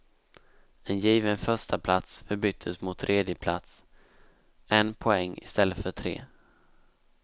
En given förstaplats förbyttes mot tredjeplats, en poäng i stället för tre.